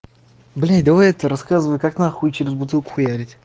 блин давай это рассказывай как на хуи через бутылку хуярить